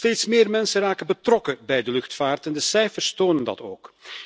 Steeds meer mensen raken betrokken bij de luchtvaart en de cijfers tonen dat ook.